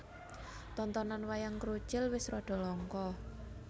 Tontonan Wayang Krucil wis rada langka